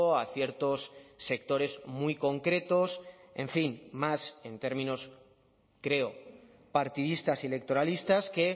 a ciertos sectores muy concretos en fin más en términos creo partidistas y electoralistas que